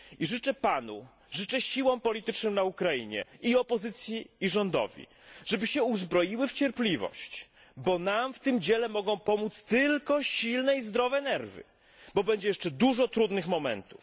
Życzę Panu, życzę siłom politycznym na Ukrainie, i opozycji, i rządowi, żeby się uzbroiły w cierpliwość, bo nam w tym dziele mogą pomóc tylko silne i zdrowe nerwy, bo będzie jeszcze dużo trudnych momentów.